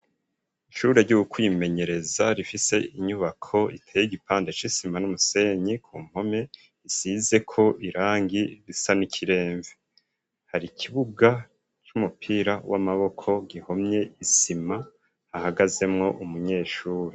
Ishuri ryo kwimenyereza rifise inyubako iteye igipande c'isima n'umusenyi ku mpome isizeko irangi risa n'ikiremve hari ikibuga c'umupira w'amaboko gihomye isima hahagazemwo umunyeshuri.